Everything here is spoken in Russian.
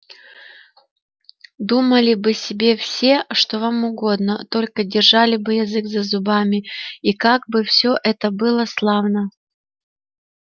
думали бы себе все что вам угодно только держали бы язык за зубами и как бы всё было славно